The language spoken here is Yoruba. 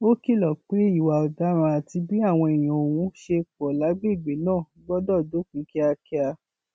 ó kìlọ pé ìwà ọdaràn àti bí àwọn èèyàn ọhún ṣe pọ lágbègbè náà gbọdọ dópin kíákíá